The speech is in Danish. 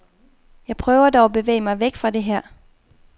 Jeg prøver dog at bevæge mig væk fra det der.